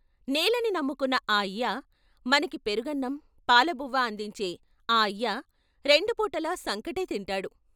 నేలని నమ్ముకున్న ఆ అయ్య! మనకి పెరుగన్నం, పాలబువ్వ అందించే ఆ అయ్య రెండు పూటలా సంకటే తింటాడు.